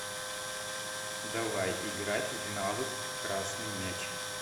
давай играть в навык красный мяч